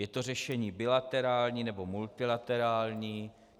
Je to řešení bilaterální nebo multilaterální.